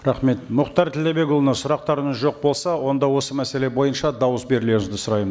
рахмет мұхтар тілдәбекұлына сұрақтарыңыз жоқ болса онда осы мәселе бойынша дауыс берулеріңізді сұраймын